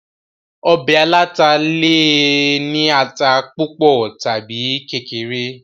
ọbẹ̀ aláta le è ní ata púpọ̀ tàbi kékeré